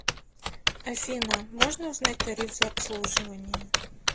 афина можно узнать тариф за обслуживание